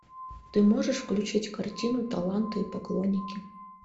ты можешь включить картину таланты и поклонники